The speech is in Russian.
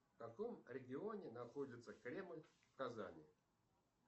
в каком регионе находится кремль в казани